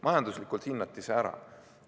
Majanduslikult hinnati see ära.